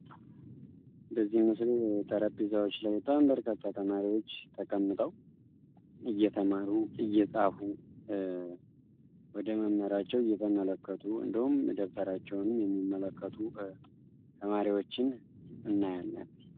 በዚህ ምስል ጠረጴዛዎች ላይ በጣም በርካታ ተማሪዎች ተቀምጠው እየተማሩ እየፃፉ ወደ መምህራቸው እየተመለከቱ እንዲሁም ደብተራቸውንም የሚመለከቱ ተማሪዎችን እንመለከታለን።